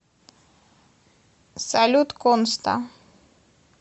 салют конста